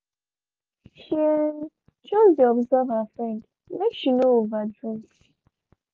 shey um just dey observe her friend make she no over drink.